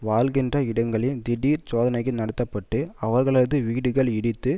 வாழ்கின்ற இடங்களில் திடீர் சோதனைகள் நடத்த பட்டு அவர்களது வீடுகள் இடித்து